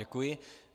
Děkuji.